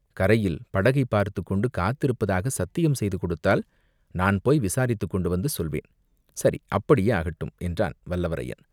கரையில் படகைப் பார்த்துக்கொண்டு காத்திருப்பதாகச் சத்தியம் செய்து கொடுத்தால் நான் போய் விசாரித்துக் கொண்டு வந்து சொல்வேன்." "சரி, அப்படியே ஆகட்டும்!" என்றான் வல்லவரையன்.